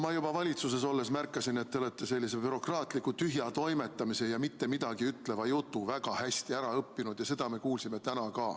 Ma juba valitsuses olles märkasin, et te olete sellise bürokraatliku tühja toimetamise ja mittemidagiütleva jutu väga hästi ära õppinud, ja seda me kuulsime ka täna.